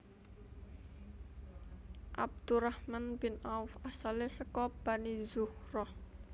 Abdurrahman bin Auf asale saka Bani Zuhrah